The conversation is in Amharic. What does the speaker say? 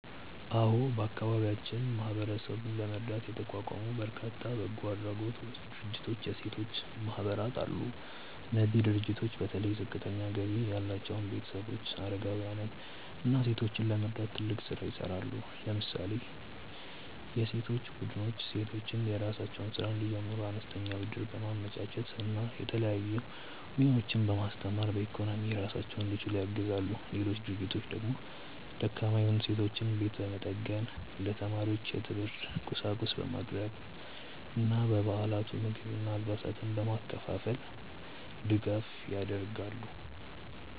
አዎ፣ በአካባቢያችን ማህበረሰቡን ለመርዳት የተቋቋሙ በርካታ በጎ አድራጎት ድርጅቶችና የሴቶች ማህበራት አሉ። እነዚህ ድርጅቶች በተለይ ዝቅተኛ ገቢ ያላቸውን ቤተሰቦች፣ አረጋውያንን እና ሴቶችን ለመርዳት ትልቅ ስራ ይሰራሉ። ለምሳሌ የሴቶች ቡድኖች ሴቶች የራሳቸውን ስራ እንዲጀምሩ አነስተኛ ብድር በማመቻቸት እና የተለያዩ ሙያዎችን በማስተማር በኢኮኖሚ ራሳቸውን እንዲችሉ ያግዛሉ። ሌሎች ድርጅቶች ደግሞ ደካማ የሆኑ ሰዎችን ቤት በመጠገን፣ ለተማሪዎች የትምህርት ቁሳቁስ በማቅረብ እና በየበዓላቱ ምግብና አልባሳትን በማከፋፈል ድጋፍ ያደርጋሉ።